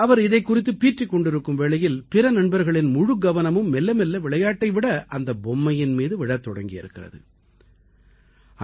அவர் இதைக் குறித்து பீற்றிக் கொண்டிருக்கும் வேளையில் பிற நண்பர்களின் முழுக்கவனமும் மெல்ல மெல்ல விளையாட்டை விட அந்தப் பொம்மையின் மீது விழத் தொடங்கியிருக்கிறது